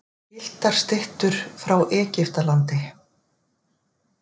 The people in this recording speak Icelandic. Gylltar styttur frá Egyptalandi.